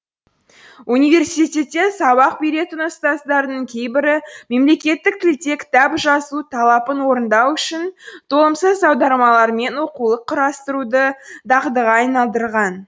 университетте сабақ беретін ұстаздардың кейбірі мемлекеттік тілде кітап жазу талабын орындау үшін толымсыз аудармалармен оқулық құрастыруды дағдыға айналдырған